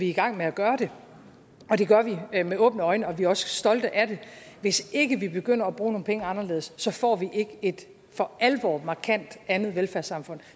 i gang med at gøre det og det gør vi med åbne øjne og vi er også stolte af det hvis ikke vi begynder at bruge nogle penge anderledes får vi ikke et for alvor markant andet velfærdssamfund